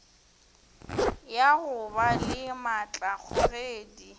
ya go ba le maatlakgogedi